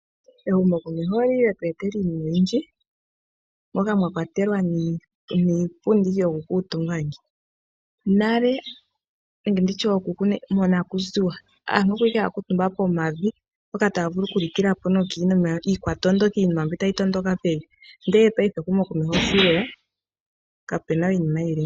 Ehumokomeho oli li lye tu etela iinima oyindji moka mwa kwatelwa niipundi yokukuutumba. Nale nenge ndi tye ookuku monakuziwa aantu oya li owala haya kuutumba pomavi. Mpoka taya vulu okulikila po nokiinima iikwatondoki, iinima mbi tayi tondoka pevi, ndele paife ehumokomeho sho lye ya kapu na we iinima yi li ngaaka.